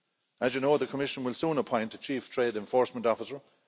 As you know, the Commission will soon appoint a chief trade enforcement officer.